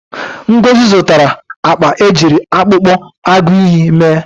Ngozi zụtara akpa ejiri akpụkpọ agụịyị mee.